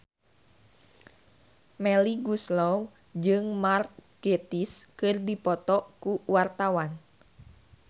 Melly Goeslaw jeung Mark Gatiss keur dipoto ku wartawan